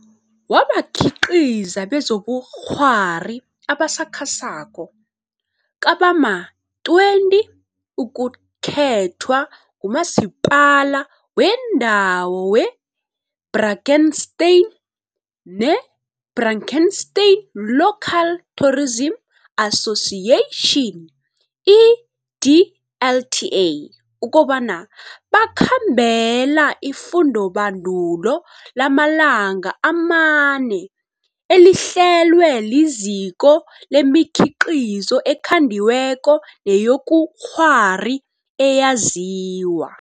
wabakhiqizi bezobukghwari abasakhasako kabama-20 ukukhethwa nguMasipala weNdawo we-Drakenstein ne-Drakenstein Local Tourism Association, i-DLTA, ukobana bakhambela ifundobandulo lamalanga amane elihlelwe liZiko lemiKhiqizo eKhandiweko neyobuKghwari eyaziwa